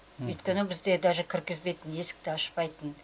өйткені бізді даже кіргізбейтін есікті ашпайтын